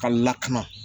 Ka lakana